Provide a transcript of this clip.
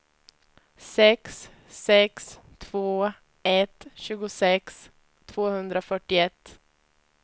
sex sex två ett tjugosex tvåhundrafyrtioett